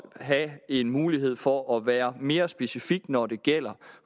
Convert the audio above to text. have en mulighed for at være mere specifikke når det gælder